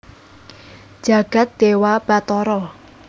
jagat dewa batara